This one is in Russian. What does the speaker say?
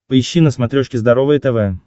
поищи на смотрешке здоровое тв